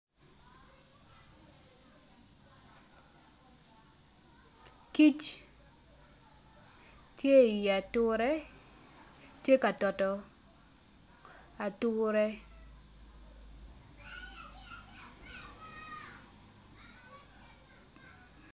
Kic tye i i ature tye ka toto ature.